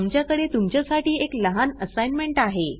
आमच्याकडे तुमच्यासाठी एक लहान असाईनमेंट आहे